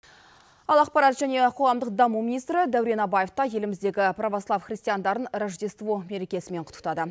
ал ақпарат және қоғамдық даму министрі дәурен абаев та еліміздегі провослав христиандарын рождество мерекесімен құттықтады